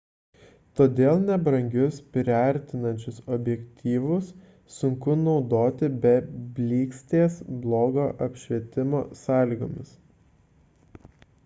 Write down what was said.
todėl nebrangius priartinančius objektyvus sunku naudoti be blykstės blogo apšvietimo sąlygomis